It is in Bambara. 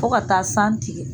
Fo ka taa san tigɛ